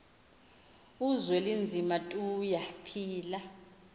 uzwelinzima tuya phila